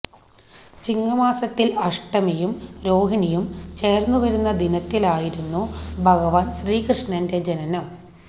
ചിങ്ങമാസത്തിൽ അഷ്ടമിയും രോഹിണിയും ചേർന്നു വരുന്ന ദിനത്തിലായിരുന്നു ഭഗവാൻ ശ്രീകൃഷ്ണന്റെ ജനനം